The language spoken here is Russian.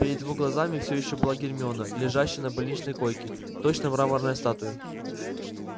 перед его глазами все ещё была гермиона лежащая на больничной койке точно мраморная статуя